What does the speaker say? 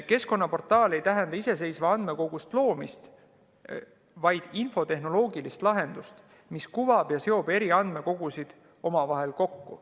Keskkonnaportaal ei tähenda iseseisva andmekogu loomist, vaid infotehnoloogilist lahendust, mis kuvab eri andmekogusid ja seob need omavahel kokku.